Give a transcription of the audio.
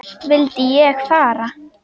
Vildi ég fara?